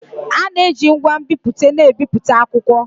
A na-eji ngwa nbipute na-ebipụta akwụkwọ